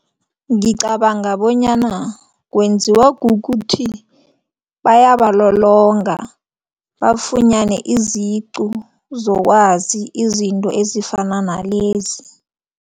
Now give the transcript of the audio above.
Ngicabanga bonyana kwenziwa kukuthi bayabalolonga bafunyane iziqu zokwazi izinto ezifana nalezi.